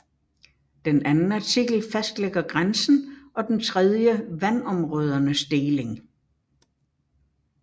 Den anden artikel fastlægger grænsen og den tredje vandområdernes deling